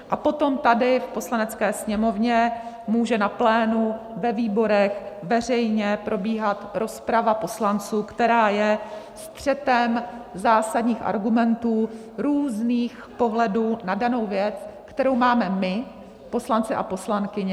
A potom tady v Poslanecké sněmovně může na plénu, ve výborech, veřejně, probíhat rozprava poslanců, která je střetem zásadních argumentů, různých pohledů na danou věc, kterou máme my, poslanci a poslankyně.